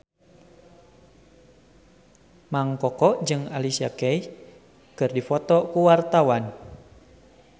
Mang Koko jeung Alicia Keys keur dipoto ku wartawan